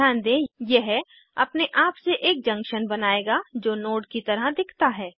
ध्यान दें कि यह अपने आप से एक जंक्शन बनाएगा जो नोड की तरह दिखता है